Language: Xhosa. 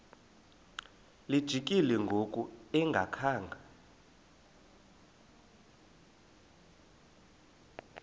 lijikile ngoku engakhanga